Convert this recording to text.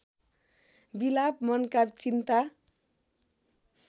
विलाप मनका चिन्ता